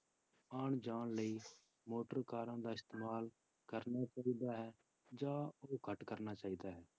ਆਉਣ ਜਾਣ ਲਈ ਮੋਟਰ ਕਾਰਾਂ ਦਾ ਇਸਤੇਮਾਲ ਕਰਨਾ ਚਾਹੀਦਾ ਹੈ ਜਾਂ ਉਹ ਘੱਟ ਕਰਨਾ ਚਾਹੀਦਾ ਹੈ?